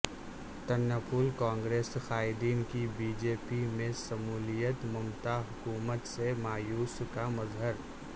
ترنمول کانگریس قائدین کی B J P میں شمولیت ممتا حکومت سے مایوسی کا مظہر